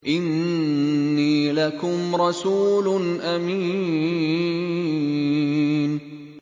إِنِّي لَكُمْ رَسُولٌ أَمِينٌ